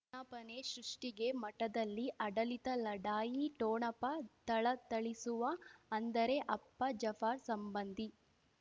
ವಿಜ್ಞಾಪನೆ ಸೃಷ್ಟಿಗೆ ಮಠದಲ್ಲಿ ಆಡಳಿತ ಲಢಾಯಿ ಠೋಣಪ ಥಳಥಳಿಸುವ ಅಂದರೆ ಅಪ್ಪ ಜಫರ್ ಸಂಬಂಧಿ